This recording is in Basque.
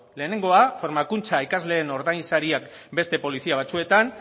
lehenengoa formakuntza ikasleen ordainsariak beste polizia batzuetan